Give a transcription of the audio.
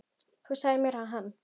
Þú sagðir mér að hann.